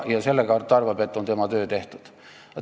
Sellega, arvab ta, on tema töö tehtud.